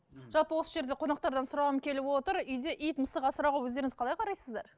жалпы осы жерде қонақтардан сұрағым келіп отыр үйде ит мысық асырауға өздеріңіз қалай қарайсыздар